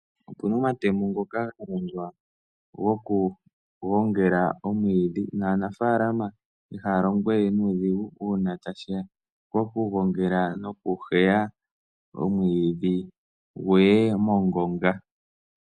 Opu na omatemo ngoka ga longwa gokugongela omwiidhi naanafaalama ihaya longo we nuudhigu uuna tashi ya pokugongela nokuheya omwiidhi gu ye mongonga